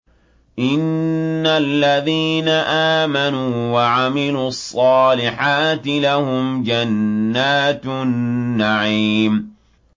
إِنَّ الَّذِينَ آمَنُوا وَعَمِلُوا الصَّالِحَاتِ لَهُمْ جَنَّاتُ النَّعِيمِ